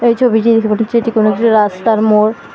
এই ছবিটি দেখে মনে হচ্ছে এটি কোনো একটি রাস্তার মোড় ।